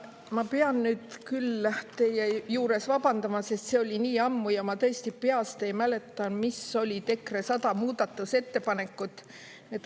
Ma pean nüüd küll teie juures vabandama, sest see oli nii ammu ja ma tõesti peast ei mäleta, mis olid EKRE 100 muudatusettepanekut.